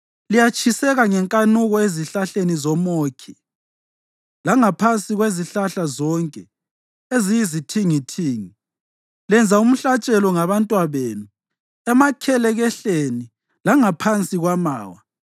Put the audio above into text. Liyatshiseka ngenkanuko ezihlahleni zomʼOkhi, langaphansi kwezihlahla zonke eziyizithingithingi; lenza umhlatshelo ngabantwabenu emakhelekehleni langaphansi kwamawa.